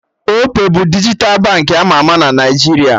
Opay bụ dijital bank ama ama na Naijiria